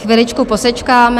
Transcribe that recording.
Chviličku posečkáme.